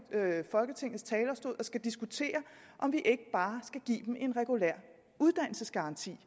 folketingets talerstol og skal diskutere om vi ikke bare skal give dem en regulær uddannelsesgaranti